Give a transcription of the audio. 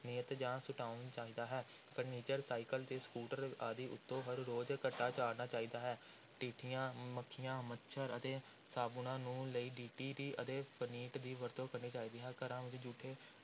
ਨਿਯਤ ਜਾਂ ਸੁਟਾਉਣ ਚਾਹੀਦਾ ਹੈ furniture ਸਾਈਕਲ ਅਤੇ ਸਕੂਟਰ ਆਦਿ ਉੱਤੋਂ ਹਰ ਰੋਜ਼ ਘੱਟਾ ਝਾੜਨਾ ਚਾਹੀਦਾ ਹੈ, ਟਿੱਡੀਆਂ, ਮੱਖੀਆਂ, ਮੱਛਰ ਤੇ ਸਾਬੁਣਾਂ ਨੂੰ ਲਈ DDT ਅਤੇ ਫਨਿੱਟ ਦੀ ਵਰਤੋਂ ਕਰਨੀ ਚਾਹੀਦੀ ਹੈ, ਘਰਾਂ ਵਿੱਚ ਜੂਠੇ